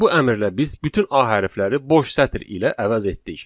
Bu əmrlə biz bütün a hərfləri boş sətr ilə əvəz etdik.